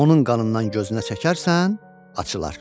Onun qanından gözünə çəkərsən, açılar.